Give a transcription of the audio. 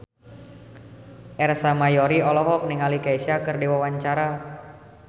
Ersa Mayori olohok ningali Kesha keur diwawancara